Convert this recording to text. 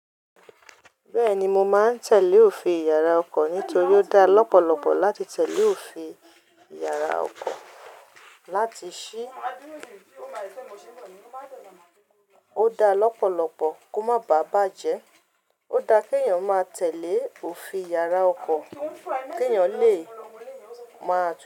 Bẹ́ẹ̀ni mo máa ń tẹ̀lé òfin yàrá ọkọ̀ nítorí ó dáa lọ́pọ̀lọpọ̀ láti tẹ̀lé òfin yàrá ọkọ̀. Láti ṣí, ó dá lọ́pọ̀lọpọ̀ kó má bàa bàjẹ́. Ó dá kí èèyàn máa tẹ̀lé òfin yàrá ọkọ̀ kí èèyàn lè máa tó.